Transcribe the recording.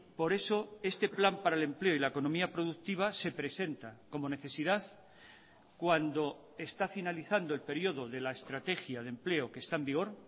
por eso este plan para el empleo y la economía productiva se presenta como necesidad cuando está finalizando el período de la estrategia de empleo que está en vigor